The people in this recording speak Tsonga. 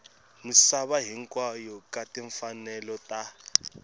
misava hinkwayo ka timfanelo ta